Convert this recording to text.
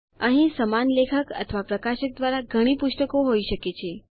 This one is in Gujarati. અહીં સમાન લેખક અથવા પ્રકાશક દ્વારા ઘણી પુસ્તકો હોઈ શકે છે